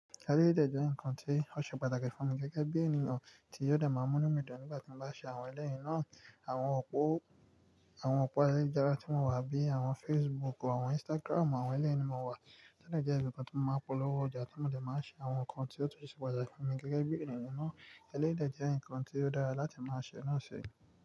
Eléyìí dẹ́ ǹkan tí ó ṣe pàtàkì fún mi gẹ́gẹ́ bí ènìyàn tí yóò dẹ̀ màà múnú mi dùn nígbà tí mo bá ṣe àwọn èléyìí náà. Àwọn òpó, àwọn òpó èléyìí ayélujára tí mo wà bíi àwọn Facebook, àwọn Instagram, àwọn èléyìí ni mo wà. To dẹ jẹ́ ibi kan tí mo máa ń polówó ọjà, tí mo dẹ̀ máa ń ṣe àwọn nǹkan tí ó tó ṣe pàtàkì fún mi gẹ́gẹ́ bí ènìyàn náà. Eléyìí dẹ̀ jẹ́ ǹkan tí ó dára láti máa ṣe náà ṣe.